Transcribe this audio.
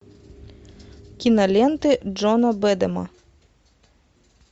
киноленты джона бэдама